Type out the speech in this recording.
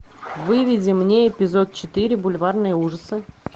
выведи мне эпизод четыре бульварные ужасы